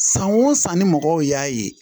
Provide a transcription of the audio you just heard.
San o san ni mɔgɔw y'a ye